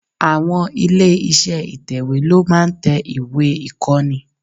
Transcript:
Àwon ilé iṣẹ́ ìtẹ̀wè ló máa ń tẹ ìwé ìkọ́ni.